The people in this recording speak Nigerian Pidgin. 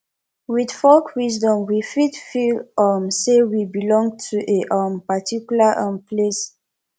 with folk wisdom we fit feel um say we belong to a um particular um place